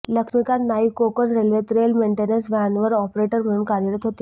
लक्ष्मीकांत नाईक कोकण रेल्वेत rail maintenance व्हॅनवर operator म्हणून कार्यरत होते